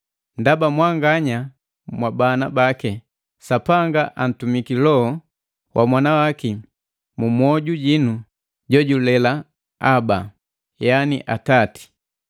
Ndaba mwanganya mwa bana bake, Sapanga antumiki Loho wa Mwanawaki mumwoju jinu jojulela, “Aba,” yani “Atati.”